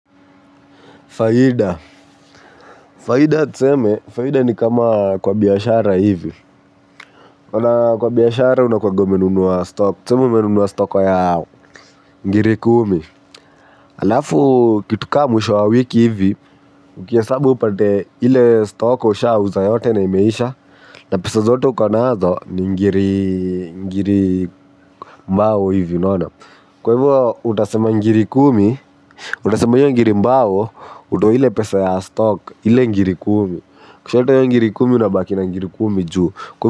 Faida, faida tuseme, faida ni kama kwa biashara hivi unaona kwa biashara unakuanga umenunua stock, tuseme umenunua stock ya ngiri kumi. Alafu kitu kaa mwisho wa wiki hivi, ukihesabu upate ile stock ushauza yote na imeisha. Na pesa zote uko nazo ni ngiri mbao hivi unaona. Kwa hivyo utasema ngiri kumi, utasema hiyo ngiri mbao, utoe ile pesa ya stock, ile ngiri kumi. Ukishatoa hiyo ngiri kumi unabaki na ngiri kumi juu.